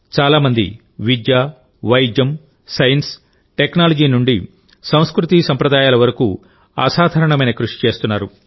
చాలా మంది విద్య వైద్యం సైన్స్ టెక్నాలజీ నుండి సంస్కృతిసంప్రదాయాల వరకు అసాధారణమైన కృషి చేస్తున్నారు